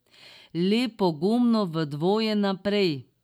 Le pogumno v dvoje naprej!